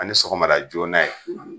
Ani sɔgɔmada joona ye